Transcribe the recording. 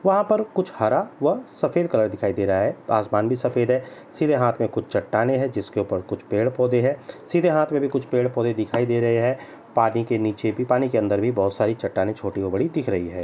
वहां पर कुछ हर व सफेद कलर दिखाईं दे रहा है आसमान का रंग भी सफ़ेद है सीधे हाथ में कुछ चट्टाने हैं जिसके ऊपर कुछ पेड़-पौधे है सीधे हाथ में भी कुछ पेड़-पौधे दिखाई दे रहे हैं पानी के नीचे भी पानी के अंदर भी बोहोत सारी चट्टाने छोटी और बड़ी दिख रही है।